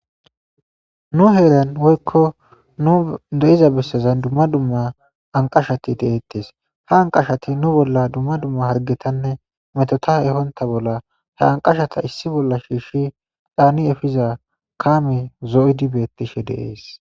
nu heeran woykko nu deiza bessezan dumma dumma anqashati deeettes ha anqashati nu bolla dumma dumma hargetanne metota ehonta bolla he anqashata issi bolla shiishshi dhaani efiza kaami zo7idi bettishe deees